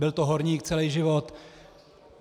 Byl to horník celý život.